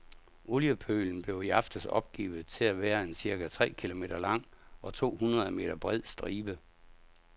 Oliepølen blev i aftes opgivet til at være en cirka tre kilometer lang og to hundrede meter bred stribe.